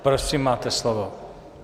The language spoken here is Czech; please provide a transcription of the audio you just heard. Prosím, máte slovo.